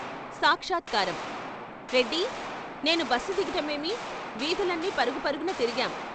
సాక్షాత్కారం రెడ్డి, నేనూ బస్సు దిగటమేమి వీధులన్ని పరుగుపరుగున తిరిగాం.